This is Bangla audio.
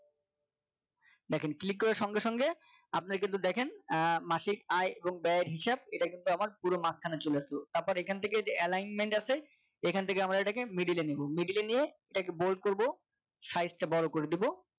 দেখেন click করার সঙ্গে সঙ্গে আপনার কিন্তু দেখেন আহ মাসিক আয় ব্যয়ের হিসাব এটা কিন্তু পুরো মাঝখানে চলে আসলো। তারপরে এখান থেকে যে alignment আছে এখান থেকে আমরা এটাকে Middle এ নেব Middle এ নিয়ে এটাকে bolt করবো size টা বড়ো করে দিবো